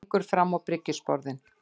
Gengur fram á bryggjusporðinn.